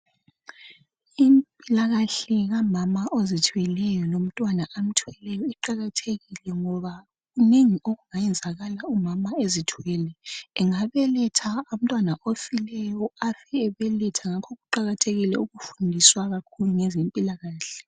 Impilakahle kamama ozithweleyo lomntwana amthweleyo kuqakathekile ngoba kunengi okungeyenzakala umama ezithwele. Angabeletha umntwana ofileyo, afe ebeletha ngakho kuqakathekile ukufundiswa kakhulu ngezempilakahle.